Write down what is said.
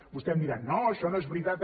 vostè em dirà no això no és veritat